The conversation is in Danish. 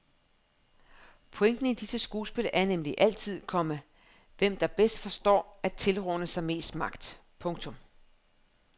Pointen i disse skuespil er nemlig altid, komma hvem der bedst forstår at tilrane sig mest magt. punktum